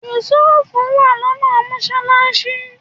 Yusuf wà lọ́nà mọ́sálásí